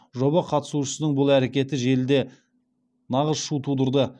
жоба қатысушысының бұл әрекеті желіде нағыз шу тудырды